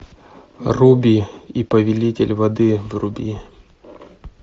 руби и повелитель воды вруби